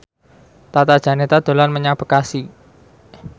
Tata Janeta dolan menyang Bekasi